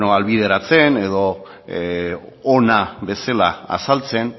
ahalbideratzen edo ona bezala azaltzen